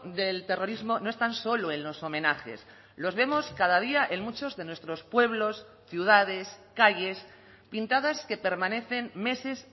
del terrorismo no están solo en los homenajes los vemos cada día en muchos de nuestros pueblos ciudades calles pintadas que permanecen meses